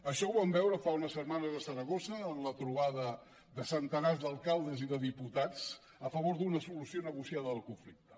això ho vam veure fa unes setmanes a saragossa en la trobada de centenars d’alcaldes i de diputats a favor d’una solució negociada del conflicte